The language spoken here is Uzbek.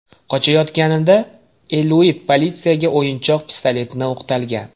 Qochayotganida Eliut politsiyaga o‘yinchoq pistoletni o‘qtalgan.